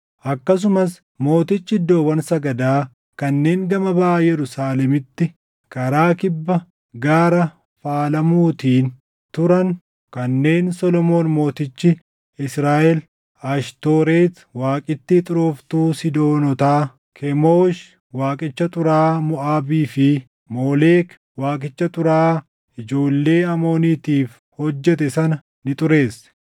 Akkasumas mootichi iddoowwan sagadaa kanneen gama baʼa Yerusaalemitti karaa kibba Gaara Faalamuutiin turan kanneen Solomoon mootichi Israaʼel Ashtooreti waaqittii xurooftuu Siidoonotaa, Kemoosh waaqicha xuraaʼaa Moʼaabii fi Moolek waaqicha xuraaʼaa ijoollee Amooniitiif hojjete sana ni xureesse.